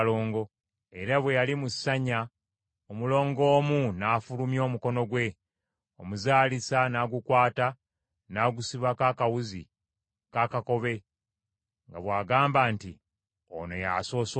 Era bwe yali mu ssanya omulongo omu n’afulumya omukono gwe, omuzaalisa n’agukwata n’agusibako akawuzi akaakakobe nga bw’agamba nti, “Ono y’asoose okujja.”